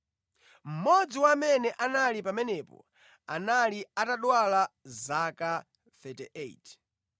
Mmodzi wa amene anali pamenepo anali atadwala zaka 38.